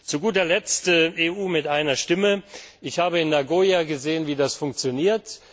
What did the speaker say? Zu guter letzt EU mit einer Stimme Ich habe in Nagoya gesehen, wie das funktioniert.